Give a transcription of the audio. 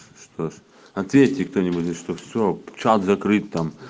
что ж ответьте кто-нибудь что все чат закрыт там